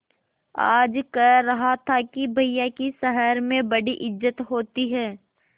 आज कह रहा था कि भैया की शहर में बड़ी इज्जत होती हैं